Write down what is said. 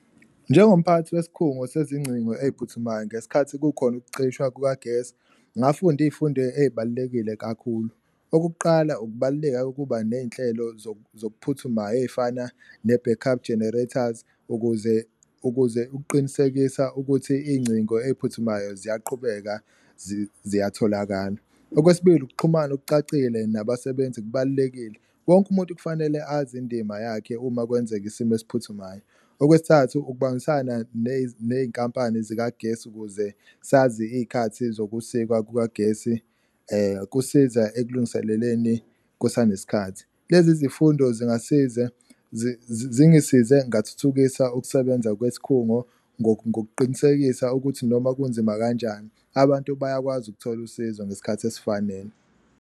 Njengomphathi wesikhungo sezingcingo ey'phuthumayo ngesikhathi kukhona ukucishwa kukagesi, ngafunda iy'fundo ey'balulekile kakhulu. Okokuqala, ukubaluleka kokuba ney'nhlelo zokuphuthumayo ey'fana ne-back up generators, ukuze ukuze ukuqinisekisa ukuthi iy'ngcingo ey'phuthumayo ziyaqhubeka ziyatholakala. Okwesibili, ukuxhumana okucacile nabasebenzi kubalulekile, wonke umuntu kufanele azi indima yakhe uma kwenzeka isimo esiphuthumayo. Okwesithathu, ukubambisana ney'nkampani zikagesi ukuze sazi iy'khathi zokusikwa kukagesi, kusiza ekulungiseleleni kusanesikhathi. Lezi zifundo zingisiza zingisize ngathuthukisa ukusebenza kwesikhungo ngokuqinisekisa ukuthi noma kunzima kanjani, abantu bayakwazi ukuthola usizo ngesikhathi esifanele.